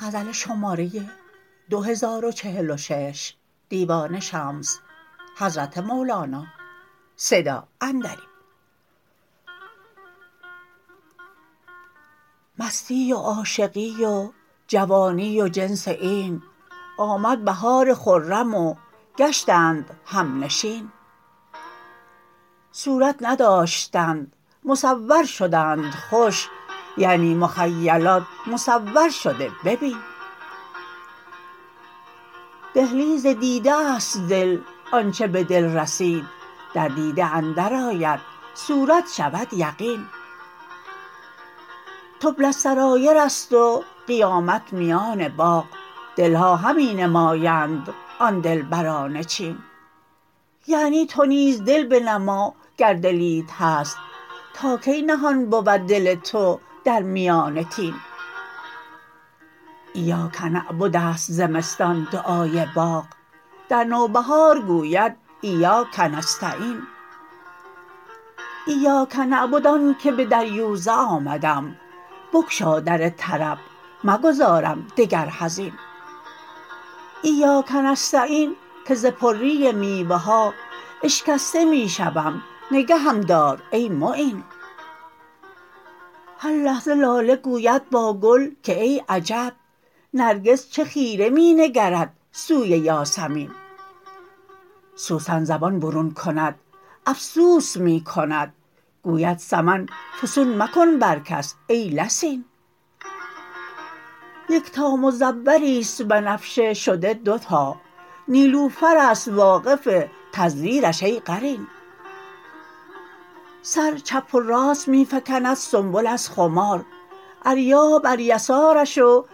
مستی و عاشقی و جوانی و جنس این آمد بهار خرم و گشتند همنشین صورت نداشتند مصور شدند خوش یعنی مخیلات مصورشده ببین دهلیز دیده است دل آنچ به دل رسید در دیده اندرآید صورت شود یقین تبلی السرایر است و قیامت میان باغ دل ها همی نمایند آن دلبران چین یعنی تو نیز دل بنما گر دلیت هست تا کی نهان بود دل تو در میان طین ایاک نعبد است زمستان دعای باغ در نوبهار گوید ایاک نستعین ایاک نعبد آنک به دریوزه آمدم بگشا در طرب مگذارم دگر حزین ایاک نستعین که ز پری میوه ها اشکسته می شوم نگهم دار ای معین هر لحظه لاله گوید با گل که ای عجب نرگس چه خیره می نگرد سوی یاسمین سوسن زبان برون کند افسوس می کند گوید سمن فسوس مکن بر کس ای لسین یکتا مزوری است بنفشه شده دوتا نیلوفر است واقف تزویرش ای قرین سر چپ و راست می فکند سنبل از خمار اریاح بر یسارش و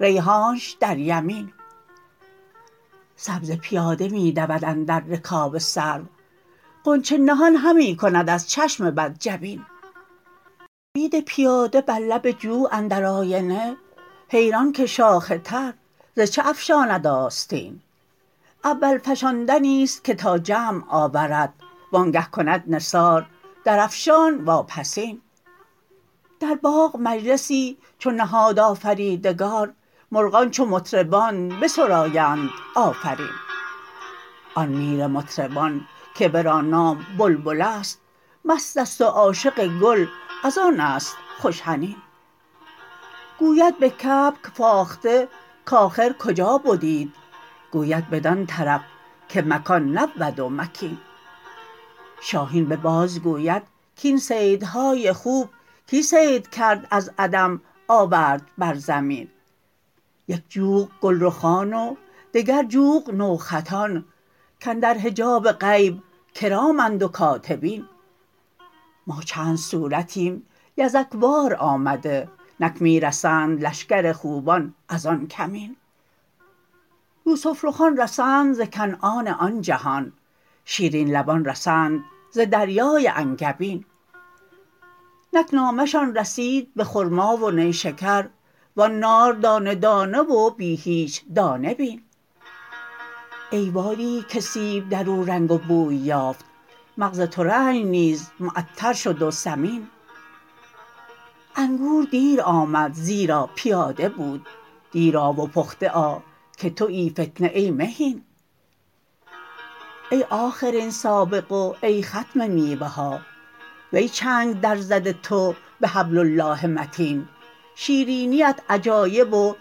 ریحانش در یمین سبزه پیاده می دود اندر رکاب سرو غنچه نهان همی کند از چشم بد جبین بید پیاده بر لب جو اندر آینه حیران که شاخ تر ز چه افشاند آستین اول فشاندنی است که تا جمع آورد وآنگه کند نثار درافشان واپسین در باغ مجلسی چو نهاد آفریدگار مرغان چو مطربان بسرایند آفرین آن میر مطربان که ورا نام بلبل است مست است و عاشق گل از آن است خوش حنین گوید به کبک فاخته کآخر کجا بدیت گوید بدان طرف که مکان نبود و مکین شاهین به باز گوید کاین صیدهای خوب کی صید کرد از عدم آورد بر زمین یک جوق گلرخان و دگر جوق نوخطان کاندر حجاب غیب کرامند و کاتبین ما چند صورتیم یزک وار آمده نک می رسند لشکر خوبان از آن کمین یوسف رخان رسند ز کنعان آن جهان شیرین لبان رسند ز دریای انگبین نک نامه شان رسید به خرما و نیشکر و آن نار دانه دانه و بی هیچ دانه بین ای وادیی که سیب در او رنگ و بوی یافت مغز ترنج نیز معطر شد و ثمین انگور دیر آمد زیرا پیاده بود دیر آ و پخته آ که توی فتنه ای مهین ای آخرین سابق و ای ختم میوه ها وی چنگ درزده تو به حبل الله متین شیرینیت عجایب و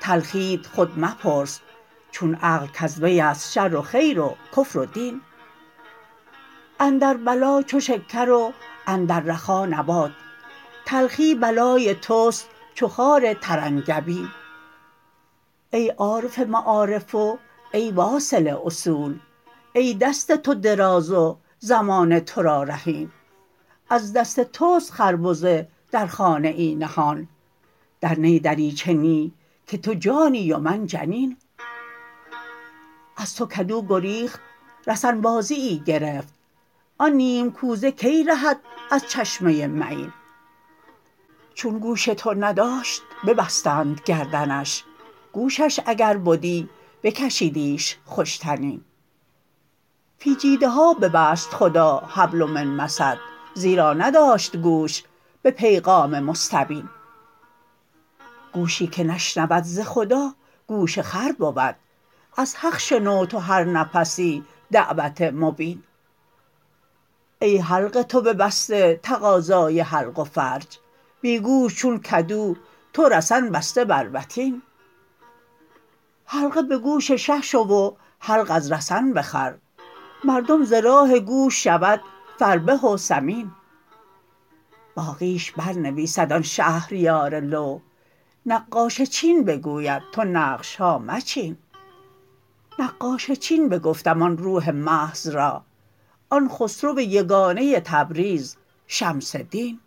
تلخیت خود مپرس چون عقل کز وی است شر و خیر و کفر و دین اندر بلا چو شکر و اندر رخا نبات تلخی بلای توست چو خار ترنگبین ای عارف معارف و ای واصل اصول ای دست تو دراز و زمانه تو را رهین از دست توست خربزه در خانه ای نهان در نی دریچه نی که تو جانی و من جنین از تو کدو گریخت رسن بازیی گرفت آن نیم کوزه کی رهد از چشمه معین چون گوش تو نداشت ببستند گردنش گوشش اگر بدی بکشیدیش خوش طنین فی جیدها ببست خدا حبل من مسد زیرا نداشت گوش به پیغام مستبین گوشی که نشنود ز خدا گوش خر بود از حق شنو تو هر نفسی دعوت مبین ای حلق تو ببسته تقاضای حلق و فرج بی گوش چون کدو تو رسن بسته بر وتین حلقه به گوش شه شو و حلق از رسن بخر مردم ز راه گوش شود فربه و سمین باقیش برنویسد آن شهریار لوح نقاش چین بگوید تو نقش ها مچین نقاش چین بگفتم آن روح محض را آن خسرو یگانه تبریز شمس دین